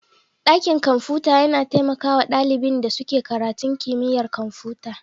Dakin kwamfuta yana taimaka wa ɗalibin da suke karatun kimiyyar kwamfuta.